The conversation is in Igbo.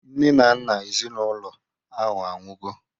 Nne na nna ezinaụlọ ahụ anwụgo